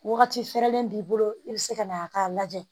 Wagati fɛrɛlen b'i bolo i be se ka na a ka lajɛ